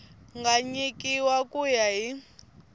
nga nyikiwa ku ya hi